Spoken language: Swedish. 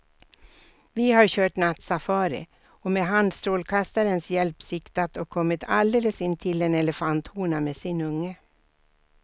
Vi har kört nattsafari och med handstrålkastarens hjälp siktat och kommit alldeles intill en elefanthona med sin unge.